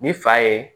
Ni fa ye